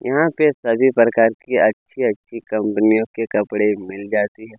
यहाँ पे सभी-सभी प्रकार के अच्छी-अच्छी कंपनियों के कपड़े मिल जाते है।